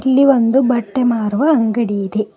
ಇಲ್ಲಿ ಒಂದು ಬಟ್ಟೆ ಮಾರುವ ಅಂಗಡಿ ಇದೆ.